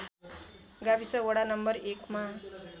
गाविस वडा नं १ मा